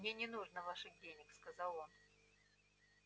мне не нужно ваших денег сказал он